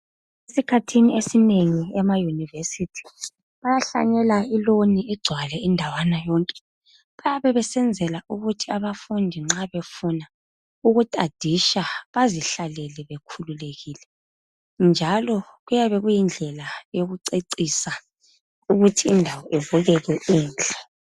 Esikhathini esinengi emayunivesithi bayahlanyela iloni igcwale indawana yonke bayabe besenzela ukuthi abafundi nxa befuna ukutadisha bazihlalele bekhululekile njalo kuyabe kuyindlela yokucecisa ukuthi indawo ibukeke inhle.